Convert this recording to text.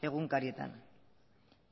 egunkarietan